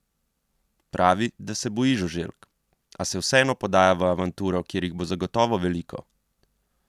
Pravi, da se boji žuželk, a se vseeno podaja v avanturo, kjer jih bo zagotovo veliko.